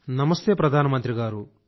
నమస్తే ప్రధానమంత్రి గారూ